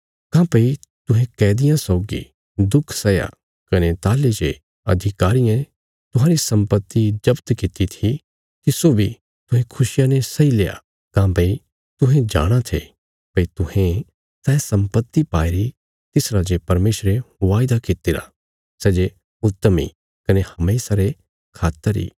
काँह्भई तुहें कैदियां सौगी दुख सैया कने ताहली जे अधिकारियें तुहांरी सम्पत्ति जफ्त कित्ती थी तिस्सो बी तुहें खुशिया ने सैईल्या काँह्भई तुहें जाणाँ थे भई तुहें सै सम्पत्ति पाईरी तिस राजे परमेशरे वायदा कित्तिरा सै जे उत्तम इ कने हमेशा रे खातर इ